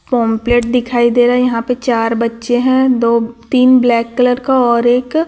complete दिखाई दे रहा है यहां पे चार बच्चे हैं दो तीन ब्लैक कलर का और एक--